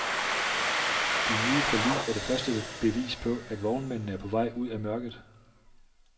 De nye forlig er det første bevis på, at vognmændene er på vej ud af mørket.